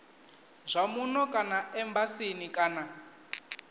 zwa muno kana embasini kana